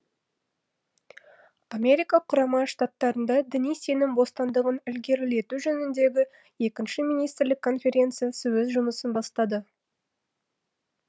америка құрама штаттарында діни сенім бостандығын ілгерілету жөніндегі екінші министрлік конференциясы өз жұмысын бастады